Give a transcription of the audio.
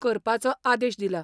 करपाचो आदेश दिला.